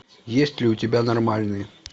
есть ли у тебя нормальные